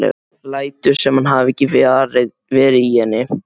Lætur sem hann hafi ekki verið í henni.